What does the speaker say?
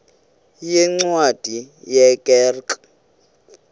yeencwadi ye kerk